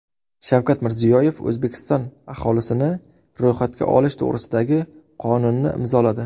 Shavkat Mirziyoyev O‘zbekiston aholisini ro‘yxatga olish to‘g‘risidagi qonunni imzoladi.